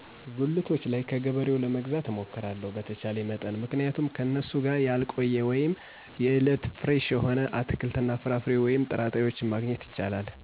ጉልቶች ላይ ከገበሬውለመግዛት እሞክራለሁ በተቻለኝ መጠን